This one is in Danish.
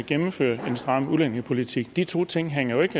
gennemfører en stram udlændingepolitik de to ting hænger jo ikke